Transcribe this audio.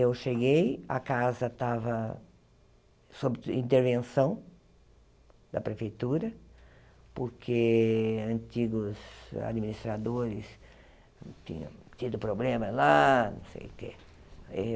Eu cheguei, a casa estava sob intervenção da prefeitura, porque antigos administradores tinham tido problemas lá, não sei o quê.